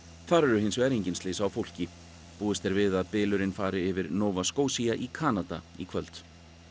þar urðu hins vegar engin slys á fólki búist er við að fari yfir Nova Scotia í Kanada í kvöld